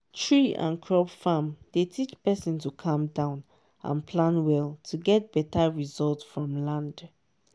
tree and crop farm dey teach person to calm down and plan well to get better result from land.